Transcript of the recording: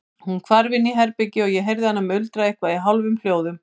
Hún hvarf inn í herbergi og ég heyrði hana muldra eitthvað í hálfum hljóðum.